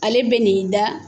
Ale bɛ n'i da